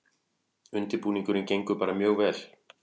Undirbúningurinn gengur bara mjög vel